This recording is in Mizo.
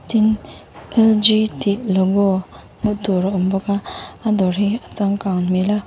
tin l g tih logo hmuh tur a awm bawk a a dawr hi a changkang hmel a.